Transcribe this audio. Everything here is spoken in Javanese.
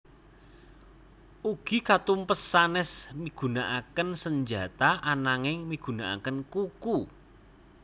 Ugi katumpes sanes migunankaken senjata ananging migunakaken kuku